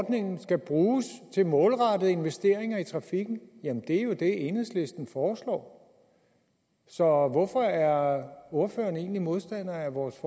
ordningen skal bruges til målrettede investeringer i trafikken jamen det er jo det enhedslisten foreslår så hvorfor er ordføreren egentlig modstander af vores